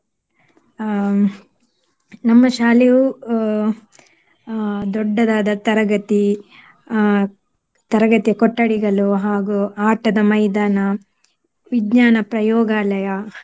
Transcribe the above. ಅಹ್ ನಮ್ಮ ಶಾಲೆಯು ಅಹ್ ಅಹ್ ದೊಡ್ಡದಾದ ತರಗತಿ, ಅಹ್ ತರಗತಿಯ ಕೊಠಡಿಗಳು ಹಾಗು ಆಟದ ಮೈದಾನ, ವಿಜ್ಞಾನ ಪ್ರಯೋಗಾಲಯ